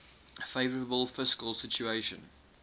favourable fiscal situation